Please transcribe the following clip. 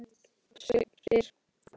Sveinn spyr